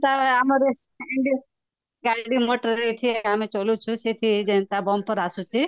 ତା ଆମର ଗାଡି ମଟର ଏଠି ଆମେ ଚଳୁଚୁ ସେଠି ଆସୁଛି